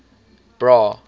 bra